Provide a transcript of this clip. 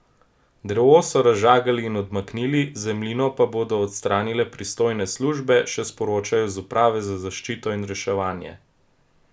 Drevo so razžagali in odmaknili, zemljino pa bodo odstranile pristojne službe, še sporočajo z uprave za zaščito in reševanje.